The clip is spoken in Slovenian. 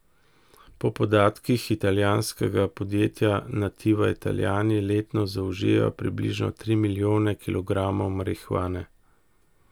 Po podatkih italijanskega podjetja Nativa Italijani letno zaužijejo približno tri milijone kilogramov marihuane.